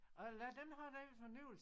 Og lad dem have den fornøjelse